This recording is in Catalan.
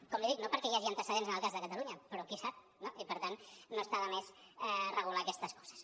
com li dic no perquè hi hagi antecedents en el cas de catalunya però qui sap no i per tant no està de més regular aquestes coses